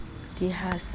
d i ha se a